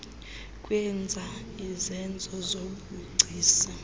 kwenza izenzo zobugcisa